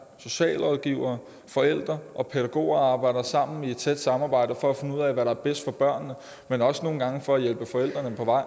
socialrådgivere forældre og pædagoger arbejder sammen i et tæt samarbejde for at finde ud af hvad der er bedst for børnene men også nogle gange for at hjælpe forældrene på vej